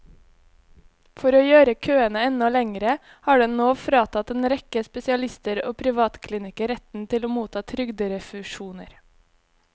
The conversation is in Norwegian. For å gjøre køene enda lengre har den nå fratatt en rekke spesialister og privatklinikker retten til å motta trygderefusjoner.